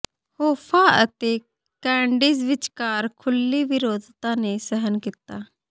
Hoffa ਅਤੇ Kennedys ਵਿਚਕਾਰ ਖੁੱਲ੍ਹੀ ਵਿਰੋਧਤਾ ਨੇ ਸਹਿਣ ਕੀਤਾ